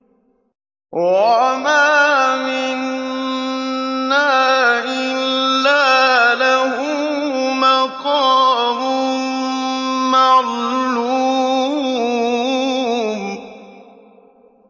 وَمَا مِنَّا إِلَّا لَهُ مَقَامٌ مَّعْلُومٌ